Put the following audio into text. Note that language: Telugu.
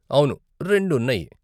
అవును, రెండు ఉన్నాయి.